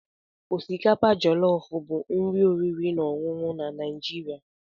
Osikapa Jọlọf bụ nri oriri na ọṅụṅụ na Naijiria.